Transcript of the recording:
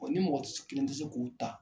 ni mɔgɔ tɛ se kelen tɛ se k'u ta